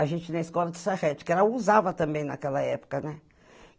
A gente, na escola de Sarrete, que era, usava também naquela época, né?